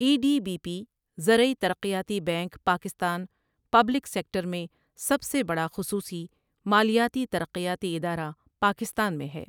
ای D B P زرعی ترقیاتی bank Pakistan public sector میں سب سے بڑا خصوصی مالیاتی ترقیاتی ادارہ پاکستان میں ہے ۔